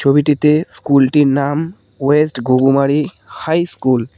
ছবিটিতে স্কুলটির নাম ওয়েস্ট ঘুঘুমারি হাই স্কুল ।